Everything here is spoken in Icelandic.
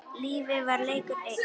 Lífið var leikur einn.